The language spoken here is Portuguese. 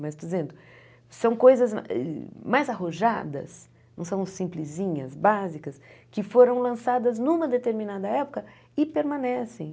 Mas, dizendo, são coisas mais arrojadas, não são simplesinhas, básicas, que foram lançadas numa determinada época e permanecem.